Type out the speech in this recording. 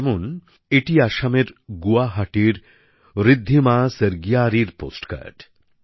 যেমন এটি আসামের গুয়াহাটির ঋদ্ধিমা স্বর্গিয়ারির পোস্টকার্ড